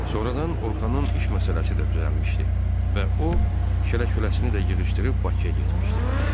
Sonradan Orxanın iş məsələsi də düzəlmişdi və o şəllə-şüləsini də yığışdırıb Bakıya getmişdi.